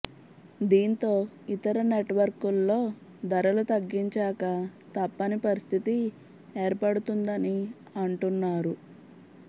దీంతో ఇతర నెట్వర్క్లూ ధరలు తగ్గించక తప్పని పరిస్థితి ఏర్పడుతుందని అంటున్నారు